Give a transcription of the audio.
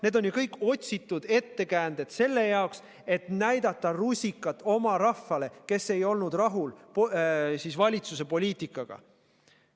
Need on ju kõik otsitud ettekäänded, et näidata rusikat oma rahvale, kes ei olnud rahul valitsuse poliitikaga.